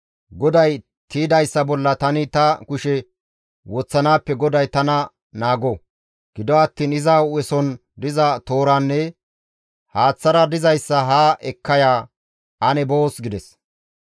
GODAY tiydayssa bolla tani ta kushe woththanaappe GODAY tana naago! Gido attiin iza hu7eson diza tooranne haaththara dizayssa haa ekka ya, ane boos» gides.